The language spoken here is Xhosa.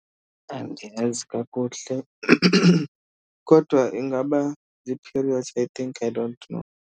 Andiyazi kakuhle kodwa ingaba zii-periods I think, I don't know.